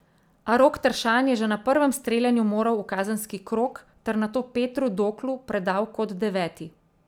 A Rok Tršan je že na prvem streljanju moral v kazenski krog ter nato Petru Doklu predal kot deveti.